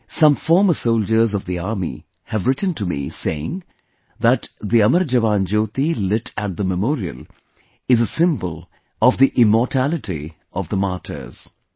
Some former soldiers of the army have written to me saying that "The 'Amar Jawan Jyoti' lit at the memorial is a symbol of the immortality of the martyrs"